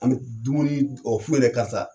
An bɛ dumuni karisa.